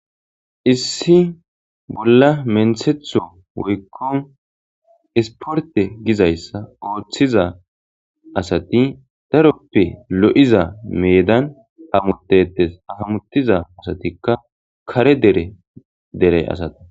issi bolla menthetho woykko isporte gizayssa ooththiza asati daroppe lo7iza meedan hamutetes hahamutiza asatikka kare dere dere asata